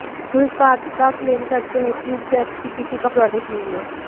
जो इस बात का क्लेम करते है कि उनसे अच्छी किसी का प्रोडक्ट नहीं है